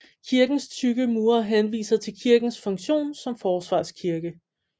Kirkens tykke mure henviser til kirkens funktion som forsvarskirke